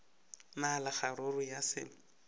na le kgaruru ya selo